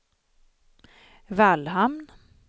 Vallhamn